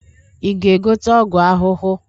Ị ga-egote ọgwụ ahụhụ?